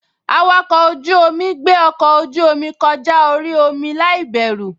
Awakọ̀ ojú-omi gbé ọkọ ojú-omi kọjá orí omi láìbẹ̀rù